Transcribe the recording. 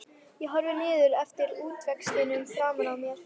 Ég horfi niður eftir útvextinum framan á mér.